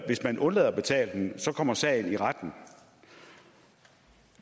hvis man undlader at betale den kommer sagen i retten